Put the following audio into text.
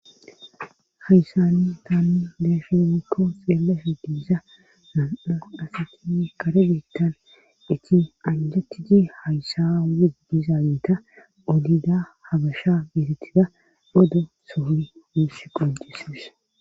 Hayssanni taanni deesha muko xeela heddisa mam7o asati kare geettan iti anjatiji hayssa i dizaanita olida habasha biiretida bodo sooni miissi qoncisies